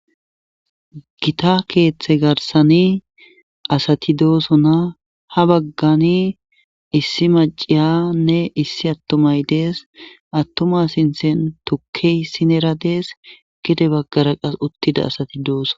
gita keeththe garsani asati doosona ha baggani issi maciyanne issi attumay dees attuma sinthen tukkey sinera dees gede baggara qas uttida asati dooso